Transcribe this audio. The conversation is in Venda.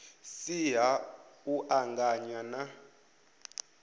si ha u anganya na